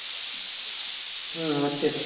হুম হচ্ছে তো।